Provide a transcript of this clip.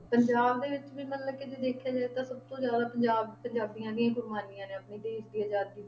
ਪੰਜਾਬ ਦੇ ਵਿੱਚ ਵੀ ਮਤਲਬ ਕਿ ਜੇ ਦੇਖਿਆ ਜਾਏ ਤਾਂ ਸਭ ਤੋਂ ਜ਼ਿਆਦਾ ਪੰਜਾਬ ਪੰਜਾਬੀਆਂ ਦੀ ਕੁਰਬਾਨੀਆਂ ਨੇ ਆਪਣੀ ਦੇਸ ਦੀ ਆਜ਼ਾਦੀ ਦੇ